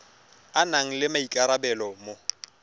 a nang le maikarabelo mo